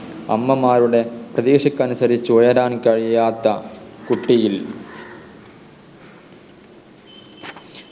അമ്മമാരുടെ പ്രതീക്ഷക്ക് അനുസരിച്ച് ഉയരാൻ കഴിയാത്ത കുട്ടിയിൽ